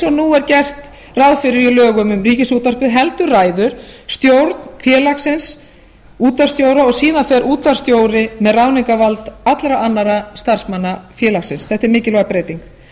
er gert ráð fyrir í lögum um ríkisútvarpið heldur ræður stjórn félagsins útvarpsstjóra og síðan fer útvarpsstjóri með ráðningarvald allra annarra starfsmanna félagsins þetta er mikilvæg breyting